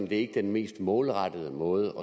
det ikke er den mest målrettede måde